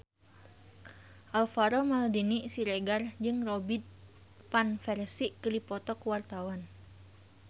Alvaro Maldini Siregar jeung Robin Van Persie keur dipoto ku wartawan